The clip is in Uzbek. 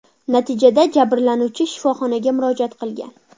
Natijada jabrlanuvchi shifoxonaga murojaat qilgan.